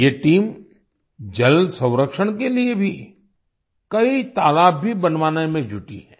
ये टीम जल संरक्षण के लिए भी कई तालाब भी बनवाने में जुटी है